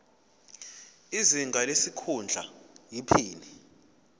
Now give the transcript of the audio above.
izinga lesikhundla iphini